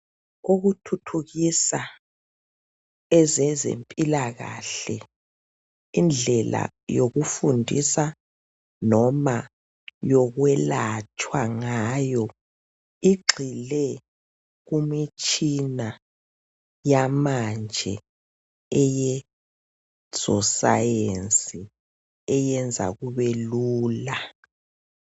Ukuthuthukisa ezezempilakahle indlela yokufundisa noma yokwelatshwa ngayo igxile kumitshina yamanje eyezosayensi eyenza kubelula.